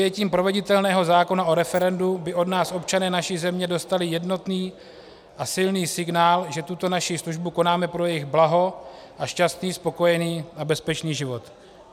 Přijetím proveditelného zákona o referendu by od nás občané naší země dostali jednotný a silný signál, že tuto naši službu konáme pro jejich blaho a šťastný, spokojený a bezpečný život.